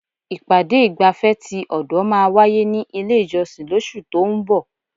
Ìpàdé ìgbafẹ́ ti ọ̀dọ̀ máà wáyé ní ilé ìjọsìn lóṣù tó ún bọ̀.